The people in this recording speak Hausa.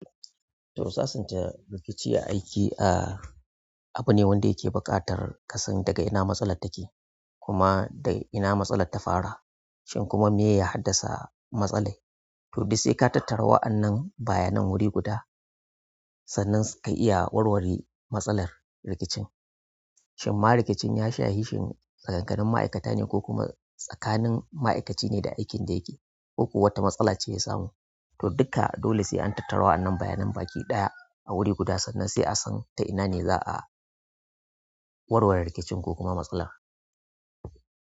To sasanta rikici a aiki abune wanda yake buƙatar ka san daga ina matsalar take kuma daga ina matsalar ta fara shin kuma me ya haddasa rigimar to duk sai ka tattara wa'annan bayanan wuri guda sannan ka iya warware matsalar rikicin. Shin ma rikicin ya shahi shin tsakanin ma'aikata ne ko kuma tsakanin ma'aikaci ne da aikin da yake, ko kuwa wata matsala ce ya samu? To duka dole sai an tattara wannan bayanan baki ɗaya a wuri guda sannan sai an san ta ina ne za a warware rikicin ko kuma matsalar.